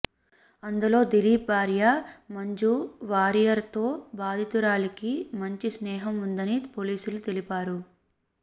అందులో దిలీప్ భార్య మంజు వారియర్ తో బాధితురాలికి మంచి స్నేహం ఉందని పోలీసులు తెలిపారు